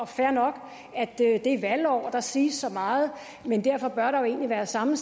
fair nok at det er et valgår og der siges så meget men derfor bør der jo egentlig være samme